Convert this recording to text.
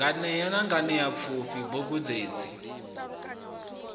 nganea na nganeapfufhi bugu dzenedzi